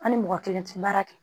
An ni mɔgɔ kelen tɛ baara kɛ